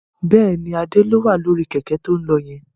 Bẹ́ẹ̀ni, Adé ló wà lórí Kẹ̀kẹ́ to ń lọ yẹn